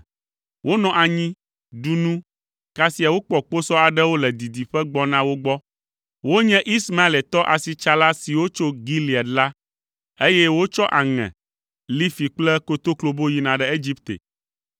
Wonɔ anyi, ɖu nu; kasia wokpɔ kposɔ aɖewo le didiƒe gbɔna wo gbɔ. Wonye Ismaeletɔ asitsala siwo tso Gilead la, eye wotsɔ aŋe, lifi kple kotoklobo yina ɖe Egipte.